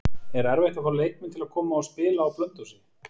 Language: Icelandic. Er erfitt að fá leikmenn til að koma og spila á Blönduósi?